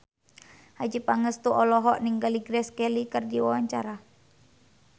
Adjie Pangestu olohok ningali Grace Kelly keur diwawancara